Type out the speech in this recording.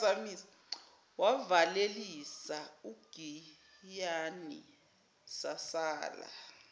wavalelisa ugiyani sasala